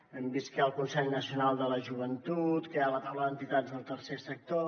hem vist que hi ha el consell nacional de la joventut que hi ha a la taula d’entitats del tercer sector